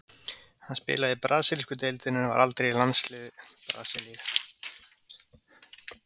Hann spilaði í brasilísku deildinni en var aldrei í landsliði Brasilíu.